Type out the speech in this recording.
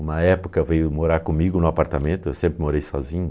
Uma época veio morar comigo no apartamento, eu sempre morei sozinho.